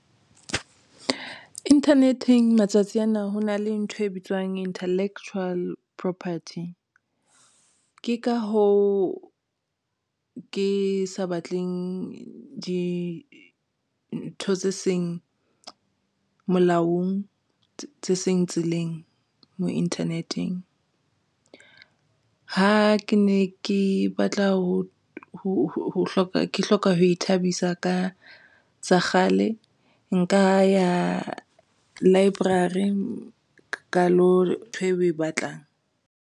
Internet-eng matsatsi ana ho na le ntho e bitswang intellectual property. Ke ka hoo ke sa batleng dintho tse seng molaong tse seng tseleng mo internet-eng ha ke ne ke batla ke hloka ho ithabisa ka tsa kgale, nka ya library ka lo ntho eo o e batlang.